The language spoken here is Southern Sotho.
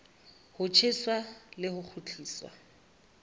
ho tjheswa le ho kgutliswa